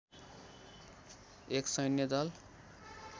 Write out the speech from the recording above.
एक सैन्य दल